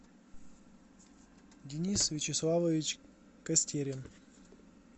денис вячеславович костерин